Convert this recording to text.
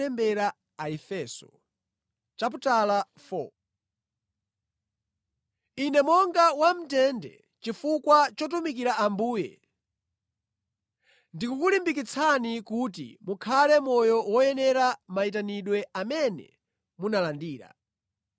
Ine monga wamʼndende chifukwa chotumikira Ambuye, ndikukulimbikitsani kuti mukhale moyo woyenera mayitanidwe amene munalandira.